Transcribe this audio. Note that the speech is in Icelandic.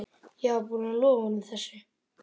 Ég var búinn að lofa honum þessu.